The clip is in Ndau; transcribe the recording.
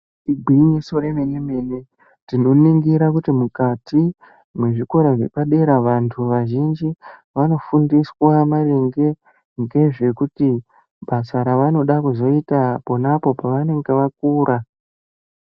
Igwinyiso remenemene tinoningira kuti mukati mwezvikora zvepadera vantu vazhinji vanofundiswa maringe ngezvekuti basa ravanoda kuzoita pona apo pavanenge vakura.